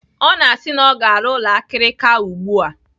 Ọ na-asị na ọ ga-arụ ụlọ akirika ugbu a.